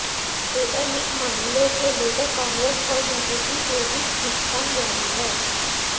data leak मामले को लेकर कांग्रेस और बीजेपी के बीच खींचतान जारी है